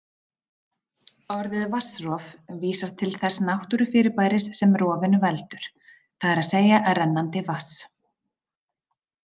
Orðið vatnsrof vísar til þess náttúrufyrirbæris sem rofinu veldur, það er að segja rennandi vatns.